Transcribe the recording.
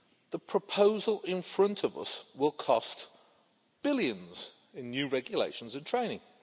The proposal in front of us will cost billions in new regulations and training.